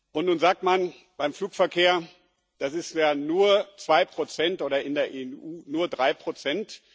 Und nun sagt man beim Flugverkehr, das seien ja nur zwei Prozent oder in der EU nur drei Prozent.